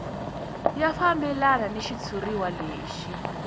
ya fambelana ni xitshuriwa lexi